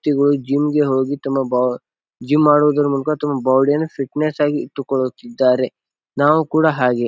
ಗಳು ಜಿಮ್ ಗೆ ಹೋಗಿ ತಮ್ಮ ಬಾ ಜಿಮ್ ಮಾಡೋದರ ಮೂಲಕ ತಮ್ಮ ಬಾಡಿ ಯನ್ನು ಫಿಟ್ನೆಸ್ ಆಗಿ ಇಟ್ಟುಕೊಳ್ಳುತ್ತಿದ್ದಾರೆ. ನಾವು ಕೂಡ ಹಾಗೆ.